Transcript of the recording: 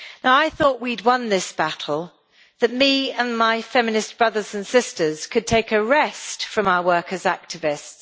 I thought we had won this battle that I and my feminist brothers and sisters could take a rest from our worker as activists.